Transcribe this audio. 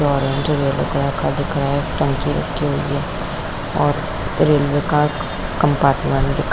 एक लड़का दिख रहा है एक टंकी रखी हुई है और रेलवे का कम्पार्टमेंट दिख --